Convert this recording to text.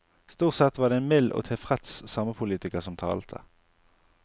Stort sett var det en mild og tilfreds samepolitiker som talte.